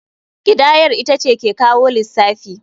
Kidayar ita ce ke kawo lissafi.